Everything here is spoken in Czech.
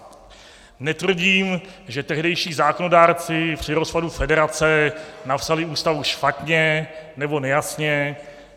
Netvrdím, že tehdejší zákonodárci při rozpadu federace napsali Ústavu špatně nebo nejasně.